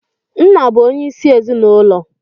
Nna bụ onyeisi ezinụlọ.